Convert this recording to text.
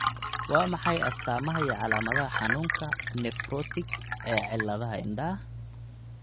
Waa maxay astamaha iyo calaamadaha xanuunka 'nephrotic ' ee cilladaha indhaha?